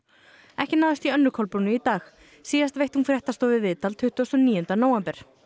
ekki náðist í Önnu Kolbrúnu í dag síðast veitti hún fréttastofu viðtal tuttugasta og níunda nóvember